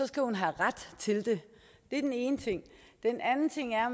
skal hun have ret til det det er den ene ting den anden ting er